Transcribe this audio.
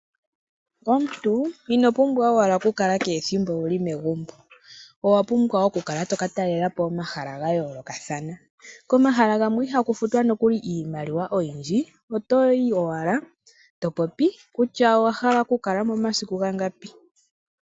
Omuntu ino pumbwa owala okukala kehe ethimbo owuli megumbo . Owapumbwa wo okukala watalelapo omahala gayoolokathana. Komahala gamwe ihaku futwa nokuli iimaliwa oyindji , oto yi owala topopi kutya owahala okukala mo omasiku gangapi.